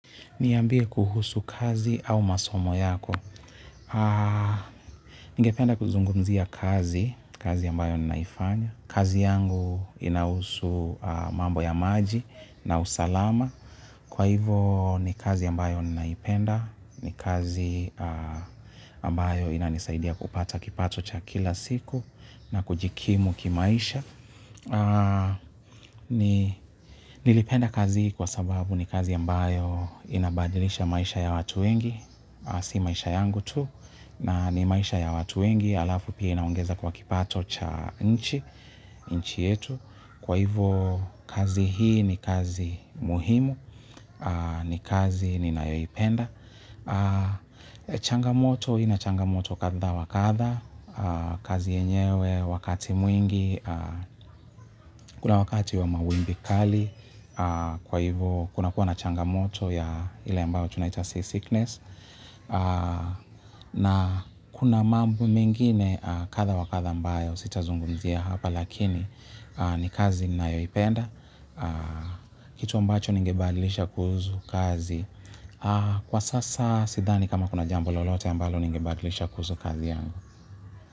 Niambie kuhusu kazi au masomo yako. Nigependa kuzungumzia kazi, kazi ambayo ninaifanya. Kazi yangu inahusu mambo ya maji na usalama. Kwa hivo ni kazi ambayo ninaipenda. Ni kazi ambayo inanisaidia kupata kipato cha kila siku na kujikimu kimaisha. Nilipenda kazi kwa sababu ni kazi ambayo inabadilisha maisha ya watu wengi. Si maisha yangu tu na ni maisha ya watu wengi. Alafu pia inaungeza kwa kipato cha nchi. Nchi yetu kwa hivyo kazi hii ni kazi muhimu. Ni kazi ninayoipenda. Changamoto ina changamoto katha wakatha. Kazi yenyewe wakati mwingi kuna wakati wa mawimbikali kwa hivyo kuna kuwa na changamoto ya ili ambayo tunaita see sickness. Na kuna mambo mengine katha wa katha ambayo sitazungumzia hapa lakini ni kazi nayoipenda. Kitu ambacho ningebadilisha kuhusu kazi kwa sasa sidhani kama kuna jambo lolote ambayo ningibadilisha kuzu kazi yangu.